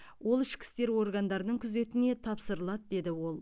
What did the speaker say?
ол ішкі істер органдарының күзетіне тапсырылады деді ол